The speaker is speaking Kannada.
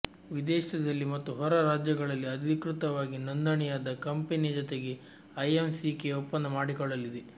ವಿದೇಶದಲ್ಲಿ ಮತ್ತು ಹೊರರಾಜ್ಯಗಳಲ್ಲಿ ಅಧಿಕೃತವಾಗಿ ನೋಂದಣಿಯಾದ ಕಂಪೆನಿಯ ಜತೆಗೆ ಐಎಂಸಿಕೆ ಒಪ್ಪಂದ ಮಾಡಿಕೊಳ್ಳಲಿದೆ